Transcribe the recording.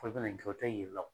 Ko i ka na nin kɛ o tɛ yir'i la o.